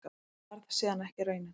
Það varð síðan ekki raunin.